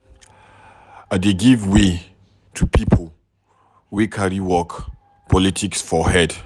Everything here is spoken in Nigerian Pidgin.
I dey give way to pipo way carry work politics for head.